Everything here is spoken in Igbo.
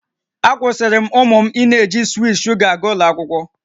Akwụsịrị m ụmụ m ịna-eji swiit sugar aga ụlọ akwụkwọ